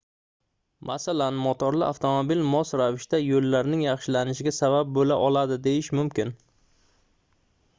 masalan motorli avtomobil mos ravishda yoʻllarning yaxshilanishiga sabab boʻla oladi deyish mumkin